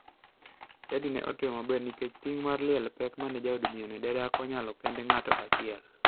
Chadi ne otimo maber nikech ting mar liel pek ma jaod miyono ne dak onyalo kende ng'ato achiel.